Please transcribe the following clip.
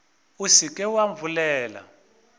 o se ke wa bolela